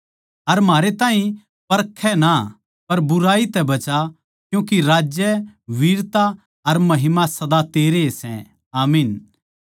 अर म्हारे ताहीं परखै ना पर बुराई तै बचा क्यूँके राज्य वीरता अर महिमा सदा तेरे ए सै आमीन